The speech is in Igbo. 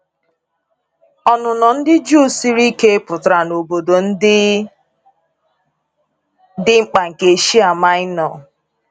Ọnụnọ ndị Juu siri ike pụtara na obodo ndị dị mkpa nke Eshia Maịnọ.